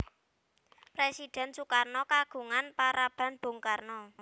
Présidhèn Sukarno kagungan paraban Bung Karno